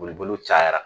Boliboli cayara